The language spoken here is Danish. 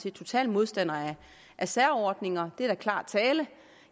er total modstander af særordninger det er da klar tale